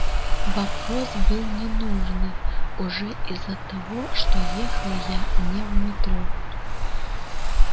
вопрос был ненужный уже из-за того что ехал я не в метро